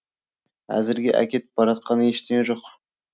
әзірге әкетіп баратқан ештеңе жоқ